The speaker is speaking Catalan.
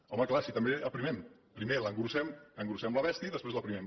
home clar així també aprimem primer engreixem la bèstia i després l’aprimem